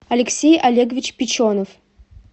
алексей олегович печенов